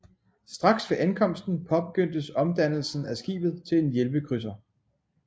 Straks ved ankomsten påbegyndtes omdannelsen af skibet til en hjælpekrydser